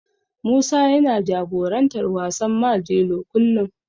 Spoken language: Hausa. Musa yana jagorantar wasan Majelo kullum.